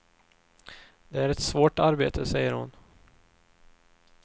Det är ett svårt arbete, säger hon.